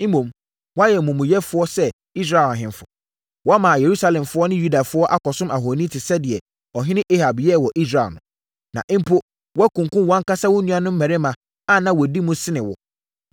Mmom, woayɛ omumuyɛfoɔ sɛ Israel ahemfo. Woama Yerusalemfoɔ ne Yudafoɔ akɔsom ahoni te sɛ deɛ ɔhene Ahab yɛɛ wɔ Israel no. Na mpo, woakunkum wʼankasa wo nuanom mmarima a na wɔdi mu sene wo.